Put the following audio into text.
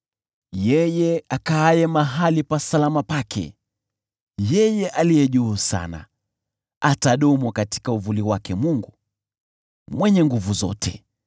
Yeye akaaye mahali pa salama pake Yeye Aliye Juu Sana, atadumu katika uvuli wake Mwenyezi.